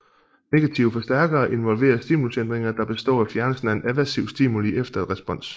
Negative forstærkere involvere stimulusændringer der består af fjernelsen af en aversiv stimuli efter et respons